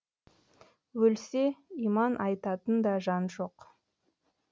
өлсе иман айтатын да жан жоқ